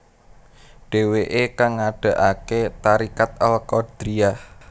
Dhèwèkè kang ngadegaké tariqat al Qadiriyah